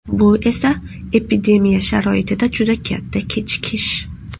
Bu esa epidemiya sharoitida juda katta kechikish.